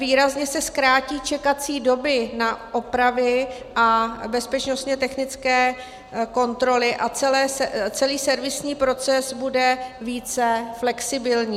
Výrazně se zkrátí čekací doby na opravy a bezpečnostně technické kontroly a celý servisní proces bude více flexibilní.